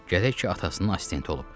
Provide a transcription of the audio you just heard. Gərək ki, atasının assistenti olub.